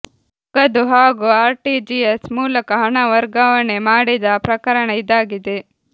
ನಗದು ಹಾಗೂ ಆರ್ಟಿಜಿಎಸ್ ಮೂಲಕ ಹಣ ವರ್ಗಾವಣೆ ಮಾಡಿದ ಪ್ರಕರಣ ಇದಾಗಿದೆ